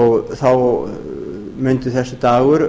og þá mundi þessi dagur